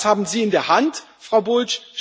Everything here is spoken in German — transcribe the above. Und das haben Sie in der Hand, Frau Bulc.